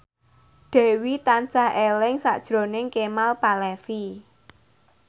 Dewi tansah eling sakjroning Kemal Palevi